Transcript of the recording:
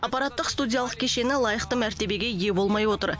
аппараттық студиялық кешені лайықты мәртебеге ие болмай отыр